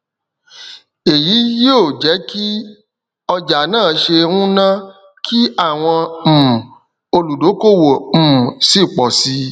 atún tẹ na kò ní ọ fà wàhálà sugbon kiko owó kúrò ní inú isuna naijiria